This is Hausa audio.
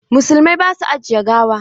Musulmai ba su ajiye gawa.